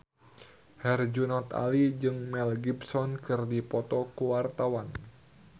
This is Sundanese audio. Herjunot Ali jeung Mel Gibson keur dipoto ku wartawan